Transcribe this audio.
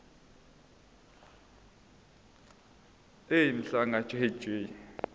ej mhlanga jj